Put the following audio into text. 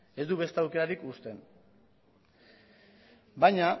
ez du beste aukerarik uzten baina